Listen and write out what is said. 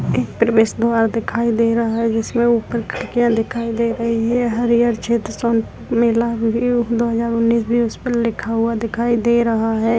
द्वार दिखाई दे रहा है। जिसमे ऊपर खिड्किया दिखाई दे रही है। हरीहर क्षेत्र सोनपुर मेला दो हजार उन्नीस भी उस पर लिखा हुआ दिखाई दे रहा है।